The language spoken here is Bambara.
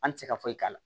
An ti se ka foyi k'a la